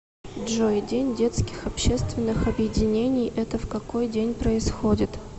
джой день детских общественных объединений это в какой день происходит